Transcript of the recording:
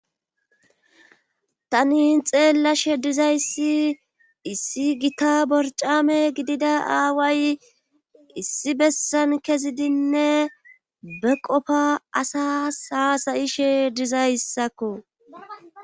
tani xeella she dizayssi issi gita borcame gidida aaway issi bessan kezidinne be qofa asa saasayishe dizayssakko